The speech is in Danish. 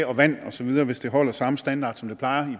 og vand osv hvis det holder samme standard som det plejer